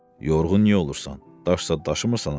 Yorğun niyə olursan, daş daşımırsan ha?